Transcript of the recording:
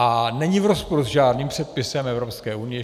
A není v rozporu s žádným předpisem Evropské unie.